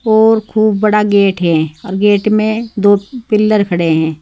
और खूब बड़ा गेट है और गेट में दो पिल्लर खड़े हैं।